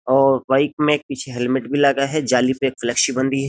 और बाइक में एक पीछे हेलमेट भी लगा गया है जाली पे एक फ्लेक्सिबल है --